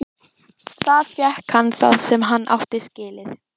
Þar fékk hann það sem hann átti skilið.